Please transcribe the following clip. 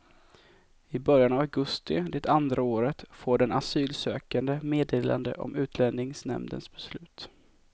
I början av augusti det andra året får den asylsökande meddelande om utlänningsnämndens beslut.